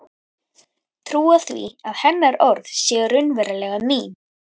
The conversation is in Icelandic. Trúa því að hennar orð séu raunverulega mín.